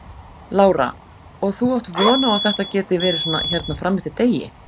Lára: Og þú átt von á að þetta geti verið svona hérna fram eftir degi?